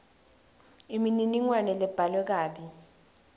imininingwane lebhalwe kabi